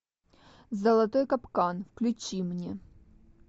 золотой капкан включи мне